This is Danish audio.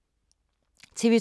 TV 2